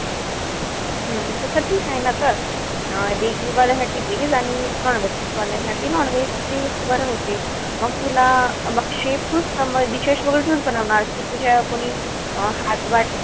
हम्म तस ठीकेय ना तर. अं veg वाल्या साठी veg आणि non-veg वाल्या साठी nonveg. ते एक बरं होते. मग तुला dishes वगैरे तूच बनवणार कि तुझ्या कोणी अं